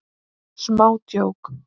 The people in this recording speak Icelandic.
Smá djók.